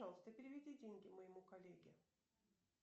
пожалуйста переведи деньги моему коллеге